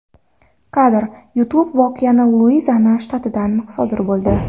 Kadr: YouTube Voqea Luiziana shtatida sodir bo‘ldi.